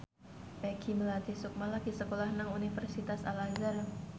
Peggy Melati Sukma lagi sekolah nang Universitas Al Azhar